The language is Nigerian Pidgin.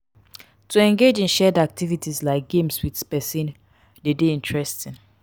to engage in shared activities like games with persin de dey interesting